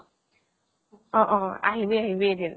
অ অ । আহিবি আহিবি এদিন।